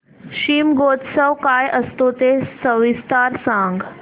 शिमगोत्सव काय असतो ते सविस्तर सांग